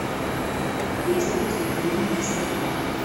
есть ли у тебя фильм мистер магу